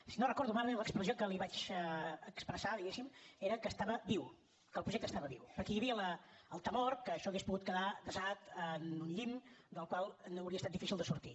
si no ho recordo malament l’expressió que li vaig expressar diguéssim era que estava viu que el projecte estava viu però que hi havia el temor que això hauria pogut quedar desat en uns llimbs dels quals hauria estat difícil de sortir